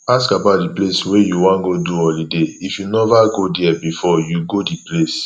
ask about di place wey you wan go do holiday if you nova go there before you go di place